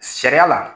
Sariya la